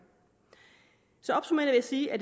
sige at